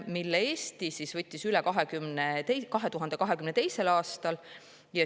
Eesti võttis selle üle 2022. aastal.